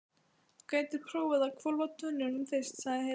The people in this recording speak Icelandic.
Þú gætir prófað að hvolfa tunnunum fyrst, sagði Heiða.